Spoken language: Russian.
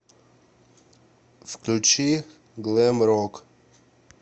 включи глэм рок